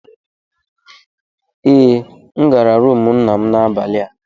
Ee, M ga-aga rumụ nna m n'abalị a.